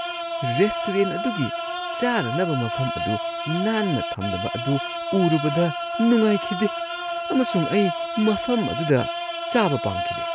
Restaurant ꯑꯗꯨꯒꯤ ꯆꯥꯅꯅꯕ ꯃꯐꯝ ꯑꯗꯨ ꯅꯥꯟꯅ ꯊꯝꯗꯕ ꯑꯗꯨ ꯎꯔꯨꯕꯗ ꯅꯨꯡꯉꯥꯏꯈꯤꯗꯦ ꯑꯃꯁꯨꯡ ꯑꯩ ꯃꯐꯝ ꯑꯗꯨꯗ ꯆꯥꯕ ꯄꯥꯝꯈꯤꯗꯦ ꯫